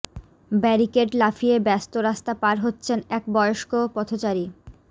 barricade লাফিয়ে ব্যস্ত রাস্তা পার হচ্ছেন এক বয়স্ক পথচারী